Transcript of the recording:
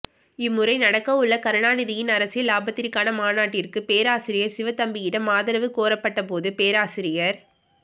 இம்முறை நடக்கவுள்ள கருணாநிதியின் அரசியல் லாபத்திற்கான மாநாட்டிற்குப் பேராசிரியர் சிவத்தம்பியிடம் ஆதரவு கோரப்பட்ட போது பேராசிரியர்